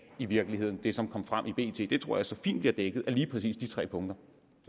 i virkeligheden det som kom frem i bt det tror jeg så fint bliver dækket af lige præcis de tre punkter